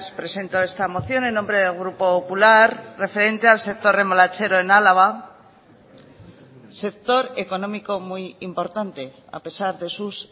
presento esta moción en nombre del grupo popular referente al sector remolachero en álava sector económico muy importante a pesar de sus